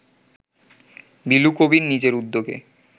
বিলু কবীর নিজের উদ্যোগে